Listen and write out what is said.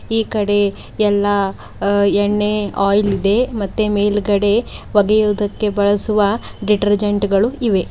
ಈ ಕಡೆ ಎಲ್ಲಾ ಅ ಎಣ್ಣೆ ಆಯಿಲ್ ಇದೆ ಮತ್ತೆ ಮೇಲ್ಗಡೆ ಒಗೆಯುವುದಕ್ಕೆ ಬಳಸುವ ಡಿಟರ್ಜೆಂಟ್ ಗಳು ಇವೆ.